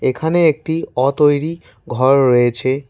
এখানে একটি অতৈরি ঘর রয়েছে।